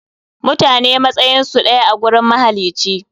Mutane matsayinsu ɗaya a gurin mahalici.